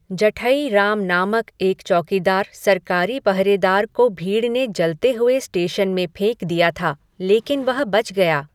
जठई राम नामक एक चौकीदार सरकारी पहरेदार को भीड़ ने जलते हुए स्टेशन में फेंक दिया था, लेकिन वह बच गया।